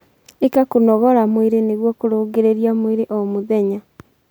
Ika kũnogora mwĩrĩ nĩguo kurungirirĩa mwĩrĩ o mũthenya